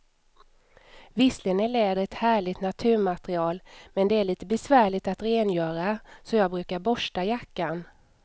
Visserligen är läder ett härligt naturmaterial, men det är lite besvärligt att rengöra, så jag brukar borsta jackan.